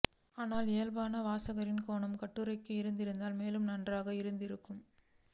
ஆனால் இயல்பான வாசகரின் கோணம் கட்டுரைக்கு இருந்திருந்தால் மேலும் நன்றாக இருந்திருக்கும்